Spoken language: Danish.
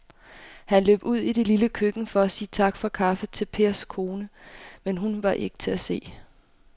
Han løb ud i det lille køkken for at sige tak for kaffe til Pers kone, men hun var ikke til at se.